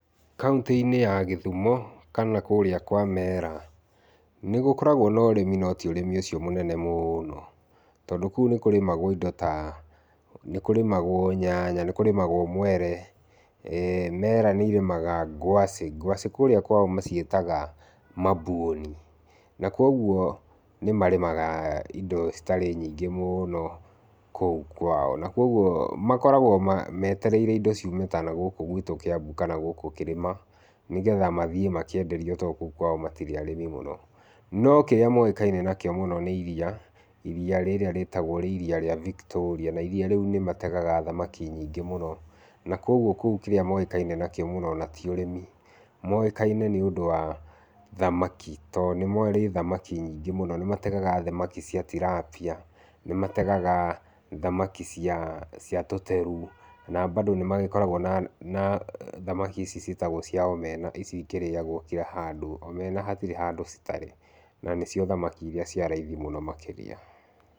Kauntĩ-inĩ ya Gĩthumo kana kũrĩa kwa Meera nĩ gũkoragwo na ũrĩmi no ti ũrĩmi ũcio mũnene mũno. Tondũ kũu nĩ kũrĩmagwo indo ta, nĩ kũrĩmagwo nyanya, nĩ kũrĩmagwo mwere. Meera nĩ irĩmaga ngwacĩ. Ngwacĩ kũrĩa kwao maciĩtaga mabuoni, na kwoguo nĩ marĩmaga indo citarĩ nyingĩ mũno kũu kwao. Na kwoguo, makoragwo meetereire indo ciume ta nagũkũ gwitũ Kiambu kana gũkũ kĩrĩma, nĩgetha mathiĩ makeenderio to kũu kwao matirĩ arĩmi mũno. No kĩrĩa moĩkaine nakĩo mũno nĩ iria, iria rĩrĩa rĩĩtagwo rĩ iria rĩa Victoria, na iria rĩu nĩ mategaga thamaki nyingĩ mũno. Na kwoguo kũu kĩrĩa moĩkaine nakĩo mũno, o na ti ũrĩmi, moĩkaine nĩ ũndũ wa thamaki to nĩ marĩ thamaki nyingĩ mũno. Nĩ mategaga thamaki cia tilapia, nĩ mategaga thamaki cia cia tũteru, na bado nĩ magĩkoragwo na na thamaki ici ciĩtagwo cia omena, ici ikĩrĩagwo kĩra handũ. Omena hatirĩ handũ citarĩ na nĩ cio thamaki iria cia raithi makĩria.